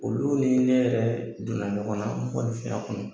Olu ni ne yɛrɛ donna ɲɔgɔnna, n kɔni a kɔnɔ